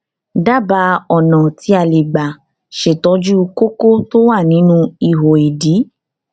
dábàá ọnà tí tí a lè gbà ṣètọjú kókó tó wà nínú ihò ìdí